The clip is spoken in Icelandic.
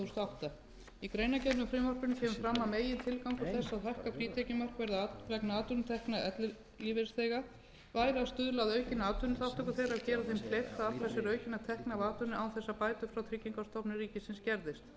átta í greinargerð með frumvarpinu kemur fram að megintilgangur þess að hækka frítekjumark vegna atvinnutekna ellilífeyrisþega væri að stuðla að aukinni atvinnuþátttöku þeirra og gera þeim kleift að afla sér aukinna tekna af atvinnu án þess að bætur frá tryggingastofnun ríkisins skerðist þá kom